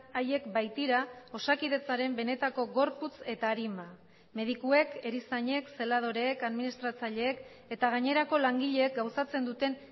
haiek baitira osakidetzaren benetako gorputz eta arima medikuek erizainek zeladoreek administratzaileek eta gainerako langileek gauzatzen duten